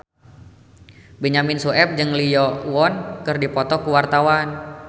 Benyamin Sueb jeung Lee Yo Won keur dipoto ku wartawan